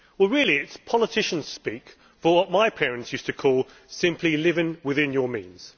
Really, it is politician speak for what my parents used to call simply living within your means.